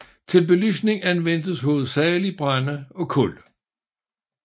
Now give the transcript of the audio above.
Til belysning anvendtes hovedsagelig brænde og kul